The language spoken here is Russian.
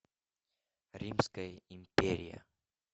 римская империя